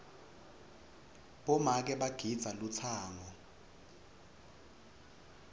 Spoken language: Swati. bomake bagidza lutsango